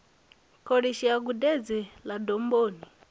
kholishi ya gudedzi ḽa domboni